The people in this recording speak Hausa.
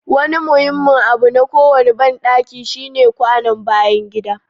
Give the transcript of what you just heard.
Wani muhimmin abu na kowane bandaki shine kwanon bayan gida.